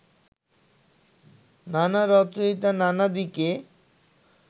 নানা রচয়িতা নানা দিকে